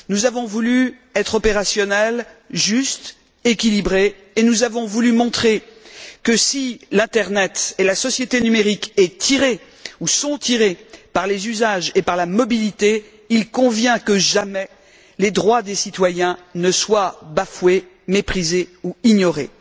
Nous avons voulu être opérationnels, justes, équilibrés, et nous avons voulu montrer que si l'internet et la société numérique sont tirés par les usages et par la mobilité, il convient que les droits des citoyens ne soient jamais bafoués, méprisés ou ignorés.